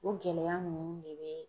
O gɛlɛya ninnu de be